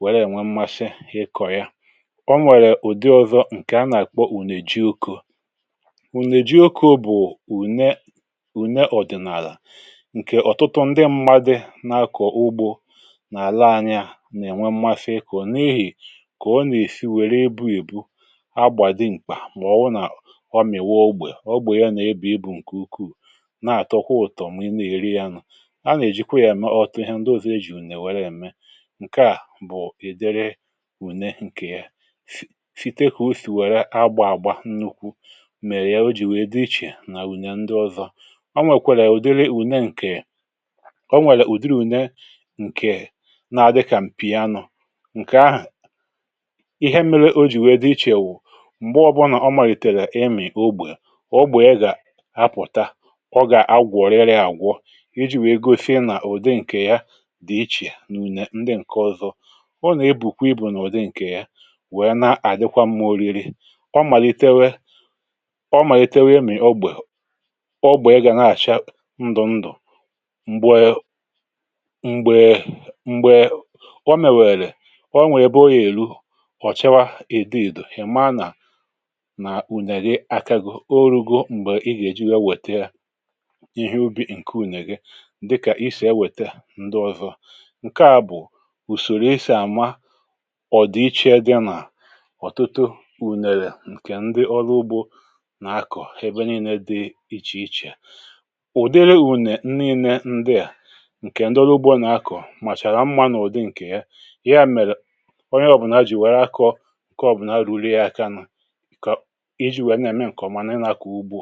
wèrè ènwe mmasị hịkọ̀ ya. Ọ nwèrè ụ̀dị ọzọ̇, ǹkè a nà-àkpọ ùnè ji okȯ. Ùnè ji okȯ bụ̀ ùne ùne ọ̀dị̀nàlà, ǹkè ọ̀tụtụ ndị mmadụ nà-akọ̀ ugbȯ n’àla anya nà-ènwe mmasị ịkụ̇, n’ehì kà ọ nà-èri, wère ebu èbu, na agba dimkpa ma ọ bụ ọmị̀wa ogbè. Ọ gbèrè yȧ n’ebe ịbụ̇ ǹkè ukwuù, na-àtọkwà ụ̀tọ̀, mà ị nà-èri ya nụ̀. A nà-èjikwa yȧ ème ọtụ ihe ndị ọ̀zọ ejì ùnè wère ème. Ǹkè à bụ̀ èdere ùne ǹkè yà. Site kà usì wère agbȧ àgba nnukwu, mèrè ya o jì wèe dị iche nà ùnè ndị ọzọ. Ọ nwèkwara ụ̀dịrị ùne, ǹkè o nwèrè ụ̀dịrị ùne ǹkè na dịkà m̀pì anụ̇, ǹkè ahụ̀ ihe mire o jì wèe dị iche wụ̀, mgbe o malitere imi ógbè, ógbè ya ga apụta, ọ ga agwo riri agwọ, iji wee gosi na udi nke ya dị iche na une ndị nke ọzọ. Ọ na ebukwa ibu na ụdị nke ya, wee na adịkwa mma oriri. Ọ malitewe ọ malitewe imi ógbè, ógbè ya gana acha ndụ ndụ. Mgbe mgbe ọ mewere, ọ nwe ebe ọ ga eru, ọ chawa edo edo, ị mara na na une gị aka go, ọ ru̇go m̀gbè ị gà-èji wee nwèta yà, ihe ubi̇ ǹke ùnyèghị, dịkà isì ewèta ndị òhụhụ. Ǹkè à bụ̀ ùsòrò isi̇ àma ọ̀dị̀iche dị nà ọ̀tụtụ ùnèrè ǹkè ndị ọrụ ugbȯ nà-akọ̀ ebe niile dị iche iche. Ụ̀dịrị ùnè nni ne-nde à, ǹkè ndị ọrụ ugbȯ nà-akọ̀, mà chàrà mma n’ụ̀dị ǹkè ya. Ya mere onye ọ̀bụna jì wère akọ̇ ǹkè ọ̀bụna ruru ya aka nà iji wee na eme ǹkè ọ̀mà nà ị nà-àkwu ugbȯ.